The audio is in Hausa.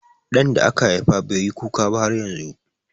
Ɗan da aka haifa bai yi kuka ba har yanzu.